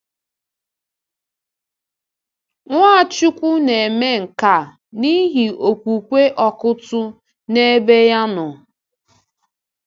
Nwachukwu nēme nke a n’ihi okwukwe Ọkụ́tụ̀ n’ebe-ya nọ.